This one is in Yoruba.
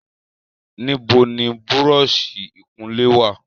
Níbo ni búrọ́ọ̀sì ìkunlé wà?